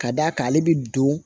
Ka d'a kan ale bɛ don